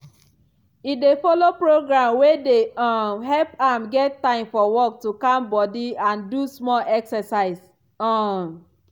e dey follow program wey dey um help am get time for work to calm body and do small exercise. um